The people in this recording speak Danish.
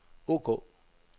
ok